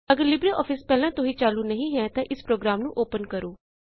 ਅਗਰ ਲਿਬਰੇਆਫਿਸ ਪਹਿਲਾਂ ਤੋ ਹੀ ਚਾਲੂ ਨਹੀ ਹੈ ਤਾਂ ਇਸ ਪ੍ਰੋਗਰਾਮ ਨੂੰ ਓਪਨ ਕਰੋ